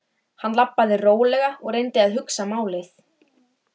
Þá yrðu fleiri vandamál frá og þá yrði Heiða glaðari.